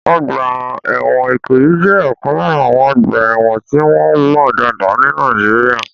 Ọgbà ẹ̀wọ̀n Ikoyi jẹ́ ọ̀kan lára àwọn ọgbà ẹ̀wọ̀n tí wọ́n mọ̀ dáadáa ní Nàìjíríà.